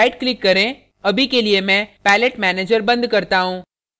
अब right click करें अभी के लिए में palette manager बंद करता हूँ